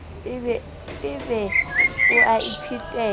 e be o a iphetela